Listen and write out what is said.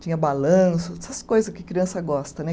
tinha balanço, essas coisa que criança gosta, né?